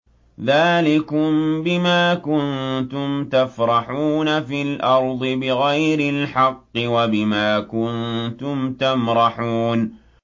ذَٰلِكُم بِمَا كُنتُمْ تَفْرَحُونَ فِي الْأَرْضِ بِغَيْرِ الْحَقِّ وَبِمَا كُنتُمْ تَمْرَحُونَ